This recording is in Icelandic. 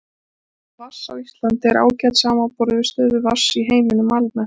Staða vatns á Íslandi er ágæt samanborið við stöðu vatns í heiminum almennt.